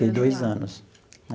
Fiquei dois anos.